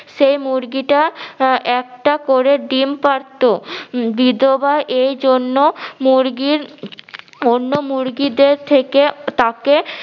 সে মুরগিটা আহ একটা করে ডিম পারতো বিধবা এইজন্য মুরগির অন্য মুরগিদের থেকে তাকে